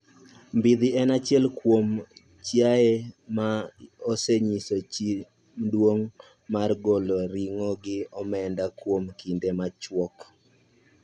Mbidhi en achiel kuom chiaye ma osenyiso chia mduong' mar golo ring'o gi omenda kuom kinde machuok